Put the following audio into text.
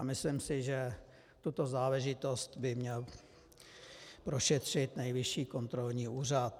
A myslím si, že tuto záležitost by měl prošetřit Nejvyšší kontrolní úřad.